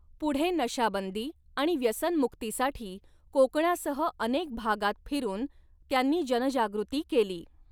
पुढे नशाबंदी आणि व्यसनमुक्तीसाठी कोकणासह अनेक भागांत फिरून त्यांनी जनजागृती केली.